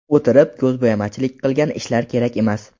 O‘tirib, ko‘zbo‘yamachilik qilgan ishlar kerak emas.